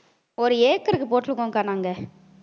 ஒரு ஏக்கருக்கு போட்டிருக்கோம்க்கா நாங்க